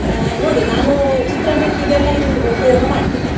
ಅಹ್ ನೋಡಿ ನಾನು ಚಿತ್ರಾನ್ನಕ್ಕೆ ಇದೆಲ್ಲಾ u~ ಉಪಯೋಗ ಮಾಡ್ತೇನೆ.